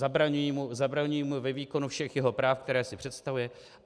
Zabraňují mu ve výkonu všech jeho práv, která si představuje.